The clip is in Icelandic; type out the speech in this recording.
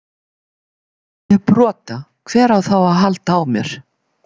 Ef ég brota, hver á þá að halda á mér?